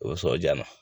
O sɔ ja na